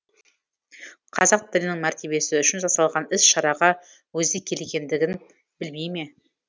қазақ тілінің мәртебесі үшін жасалған іс шараға өзі келгендігін білмей ме